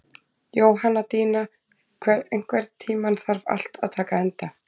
Jóhanndína, einhvern tímann þarf allt að taka enda.